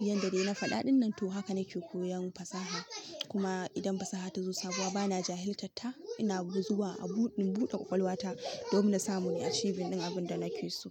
yanda dai na faɗa ɗin nan to haka nake koyan fasaha. Kuma idan fasaha ta zo sabuwa bana jahiltatta, ina zuwa in buɗe ƙwaƙwalwa ta domin na samu nayi achieving abin da nake so.